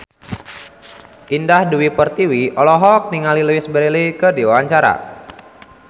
Indah Dewi Pertiwi olohok ningali Louise Brealey keur diwawancara